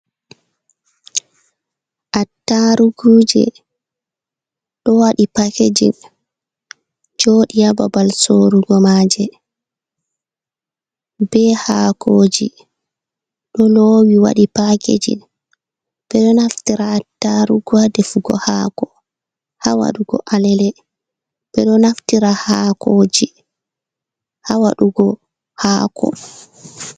Attarugu je ɗo waɗi pakejin joɗi hababal sorugo ma je, be hakoji ɗo lowi waɗi pakejin. Ɓe ɗo naftira attarugu je ha defugo hako, hawaɗugo alele. Ɓe ɗo naftira hakoji hawaɗugo hako.